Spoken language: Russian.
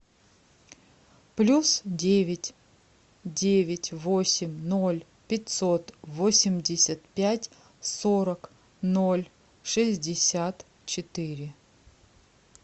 плюс девять девять восемь ноль пятьсот восемьдесят пять сорок ноль шестьдесят четыре